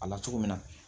A la cogo min na